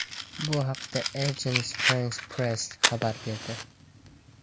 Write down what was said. Bu haqda Agence France-Presse xabar berdi .